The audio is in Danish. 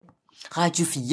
Radio 4